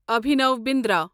Abhinav Bindra